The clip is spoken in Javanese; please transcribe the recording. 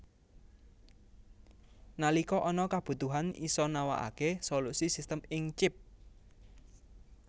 Nalika ana kabutuhan isa nawakake solusi sistem ing Chip